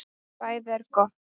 BÆÐI ER GOTT